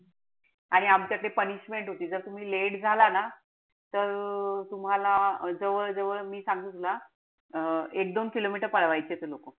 आणि आपलं ते punishment होती. जर तुम्ही late झाला ना तर तुम्हाला जवळ-जवळ मी सांगू तुला, अं एक दोन kilometer पाठवायचे ते लोकं.